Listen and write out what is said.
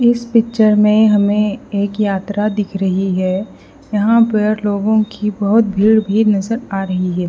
इस पिक्चर में हमें एक यात्रा दिख रही है यहां पर लोगों की बहुत भीड़ भी नजर आ रही है।